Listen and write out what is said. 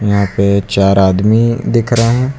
यहां पे चार आदमी दिख रहे हैं।